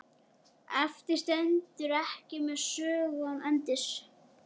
Eftir stend ég með sögu án endis.